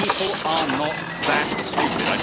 People are not that stupid.